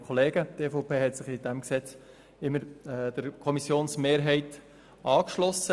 Die EVP hat sich in diesem Gesetz immer der Kommissionsmehrheit angeschlossen.